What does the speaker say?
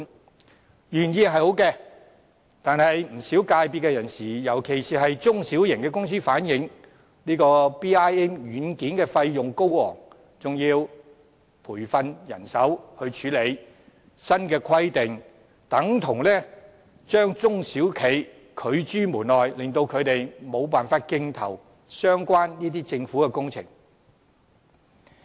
這項措施原意是好的，但不少業界人士，尤其是中小型公司反映 ，BIM 軟件的費用高昂，還要培訓人手來處理；新規定等同將中小企拒諸門外，令他們無法競投相關的政府工程。